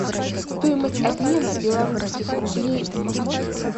стоимость обмена белорусских рублей в москве